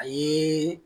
A ye